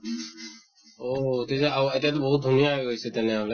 অহ তেতিয়া ঔ এতিয়াতো বহুত ধুনীয়া হৈ গৈছে তেনেহʼলে